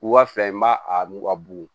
Wula fɛ n b'a a nugu ka bugu